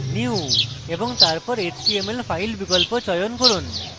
new এবং তারপর html file বিকল্প চয়ন করুন